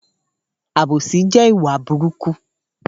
Àbósì jẹ ìwá búrùkú.